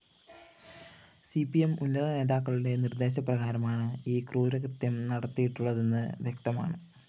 C P M ഉന്നതനേതാക്കളുടെ നിര്‍ദ്ദേശപ്രകാരമാണ് ഈ ക്രൂരകൃത്യം നടത്തിയിട്ടുള്ളതെന്ന് വ്യക്തമാണ്